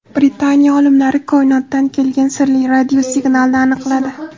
Britaniya olimlari koinotdan kelgan sirli radiosignalni aniqladi.